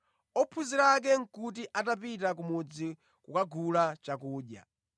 (Ophunzira ake nʼkuti atapita mʼmudzi kukagula chakudya).